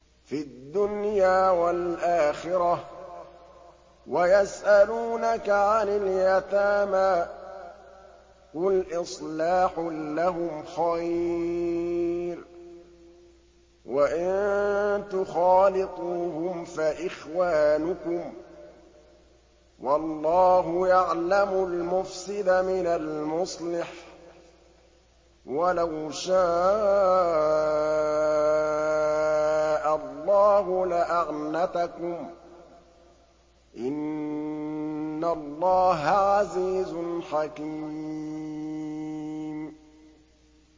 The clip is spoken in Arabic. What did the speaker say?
فِي الدُّنْيَا وَالْآخِرَةِ ۗ وَيَسْأَلُونَكَ عَنِ الْيَتَامَىٰ ۖ قُلْ إِصْلَاحٌ لَّهُمْ خَيْرٌ ۖ وَإِن تُخَالِطُوهُمْ فَإِخْوَانُكُمْ ۚ وَاللَّهُ يَعْلَمُ الْمُفْسِدَ مِنَ الْمُصْلِحِ ۚ وَلَوْ شَاءَ اللَّهُ لَأَعْنَتَكُمْ ۚ إِنَّ اللَّهَ عَزِيزٌ حَكِيمٌ